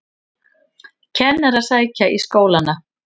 Kennarar sækja í skólana